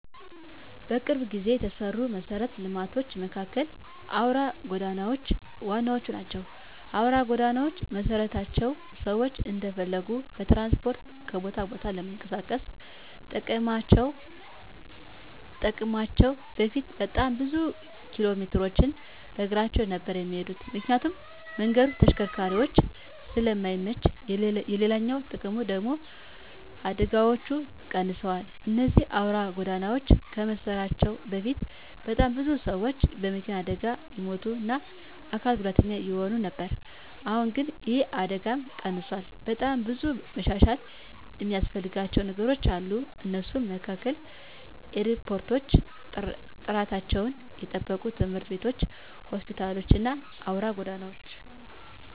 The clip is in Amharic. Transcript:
በቅርብ ጊዜ የተሰሩ መሰረተ ልማቶች መካከል አውራ ጎዳናዎች ዋነኞቹ ናቸው። አውራ ጎዳናዎች መሰራታቸው ሰዎች እንደፈለጉ በትራንስፖርት ከቦታ ቦታ ለመንቀሳቀስ ጠቅሟቸዋል በፊት በጣም ብዙ ኪሎሜትሮችን በእግራቸው ነበር እሚሄዱት ምክንያቱም መንገዱ ለተሽከርካሪዎች ስለማይመች፤ ሌላኛው ጥቅሙ ደግሙ ደግሞ አደጋዎች ቀንሰዋል እነዚህ አውራ ጎዳናዎች ከመሰራታቸው በፊት በጣም ብዙ ሰዎች በመኪና አደጋ ይሞቱ እና አካል ጉዳተኛ ይሆኑ ነበር አሁን ግን ይህ አደጋም ቀንሷል። በጣም ብዙ መሻሻል እሚያስፈልጋቸው ነገሮች አሉ ከነሱም መካከል ኤርፖርቶች፣ ጥራታቸውን የጠበቁ ትምህርት ቤቶች፣ ሆስፒታሎች እና አውራ ጎዳናዎች።